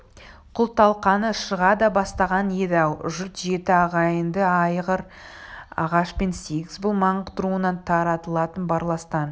күл-талқаны шыға да бастаған еді-ау жұт жеті ағайынды айыр ағашпен сегіз бұл маңғыт руынан таралатын барластан